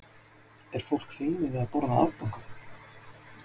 Heimir Már Pétursson: Er fólk feimið við að borða afganga?